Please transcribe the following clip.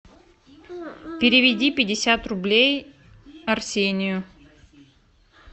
переведи пятьдесят рублей арсению